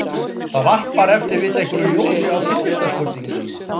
Það varpar ef til vill einhverju ljósi á tilvistarspurninguna.